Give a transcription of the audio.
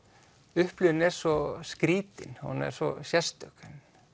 upplifunin er svo skrýtin hún er svo sérstök